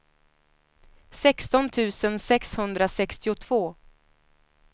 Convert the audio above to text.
sexton tusen sexhundrasextiotvå